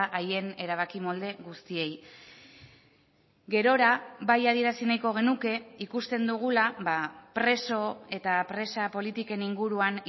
haien erabaki molde guztiei gerora bai adierazi nahiko genuke ikusten dugula preso eta presa politiken inguruan